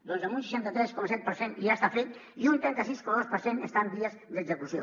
doncs un seixanta tres coma set per cent ja està fet i un trenta sis coma dos per cent està en vies d’execució